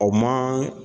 O ma